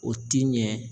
O ti ɲɛ